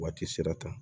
Waati sera ta